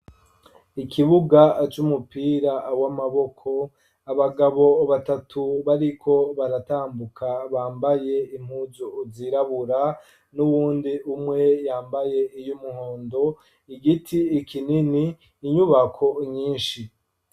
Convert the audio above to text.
Ikibuga aj' umupira awo amaboko abagabo batatu bariko baratambuka bambaye impuzu uzirabura n'uwundi umwe yambaye iyo umuhondo igiti ikinini inyubako nyinshi.